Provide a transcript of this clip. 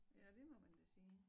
Ja det må man da sige